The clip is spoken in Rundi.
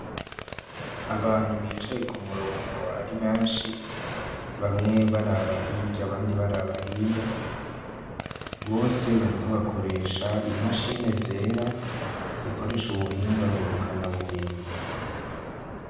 Abantu bicaye ku murongo ari benshi, bamwe baraba hirya abandi baraba hino. Bose bariko bakoresha imashine zera zikoresha ubuhinga ngurukanabumenyi.